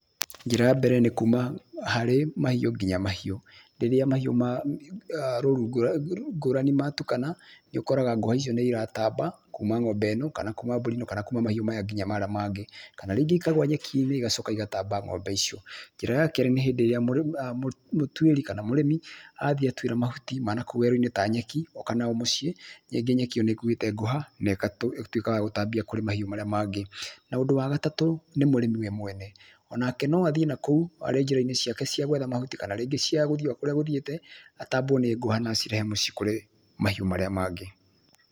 Njĩra ya mbere nĩ kuma harĩ mahiũ nginya mahiũ marĩa mangĩ, rĩrĩa mahiũ rũru ngũrani matukana nĩũkoraga ngũha icio nĩiratamba kuma ng'ombe ĩno kana kuma mbũri ĩno kana kuma mahiũ maya nginya marĩa mangĩ kana ningĩ ikagwa nyekinĩ igacoka igatamba ng'ombe icio. Njĩra ya kerĩ nĩ hĩndĩ ĩrĩa mũrĩmi kana mũtuĩri athiĩ atuĩra mahuti ma nakũu werũ-inĩ ta nyeki oka nayo mũciĩ rĩngĩ nyeki ĩyo nĩkũĩte ngũha na ĩgatuĩka ya gũcitambia kũrĩ mahiũ marĩa mangĩ. Na ũndũ wa gatatũ nĩ mũrĩmi we mwene onake no athiĩ na kũu arĩ njĩrainĩ ciake cia gwetha mahuti kana rĩngĩ cia gũthie okũria agũthiĩte atambwo nĩ nguha na acirehe mũciĩ kũrĩ mahiũ maria mangĩ.